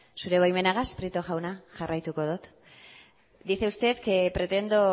zure baimenagaz prieto jauna jarraituko dot dice usted que pretendo